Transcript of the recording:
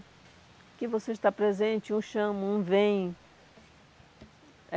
Aqui você está presente, um chama, um vem. É